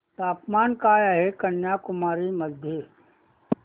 तापमान काय आहे कन्याकुमारी मध्ये